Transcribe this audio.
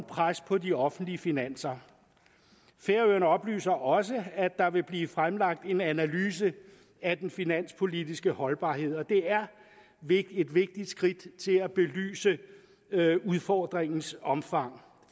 pres på de offentlige finanser færøerne oplyser også at der vil blive fremlagt en analyse af den finanspolitiske holdbarhed og det er et vigtigt skridt til at belyse udfordringens omfang